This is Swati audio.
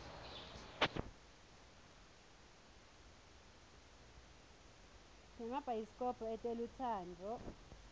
sinemabayisi kobho etelutsandvo